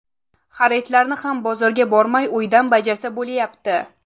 Xaridlarni ham bozorga bormay, uydan bajarsa bo‘lyapti.